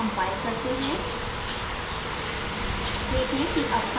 इसे दूसरी बार compile करते हैं